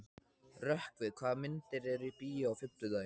Rökkvi, hvaða myndir eru í bíó á fimmtudaginn?